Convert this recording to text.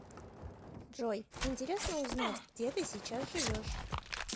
джой интересно узнать где ты сейчас живешь